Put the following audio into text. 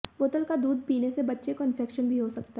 बोतल का दूध पीने से बच्चे को इंफेक्शन भी हो सकता है